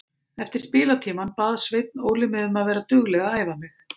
Eftir spilatímann bað Sveinn Óli mig um að vera dugleg að æfa mig.